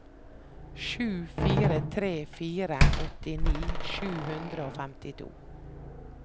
sju fire tre fire åttini sju hundre og femtito